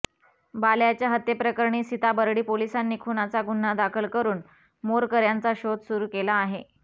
बाल्याच्या हत्येप्रकरणी सीताबर्डी पोलिसांनी खुनाचा गुन्हा दाखल करून मोरकऱ्यांचा शोध सुरू केला आहे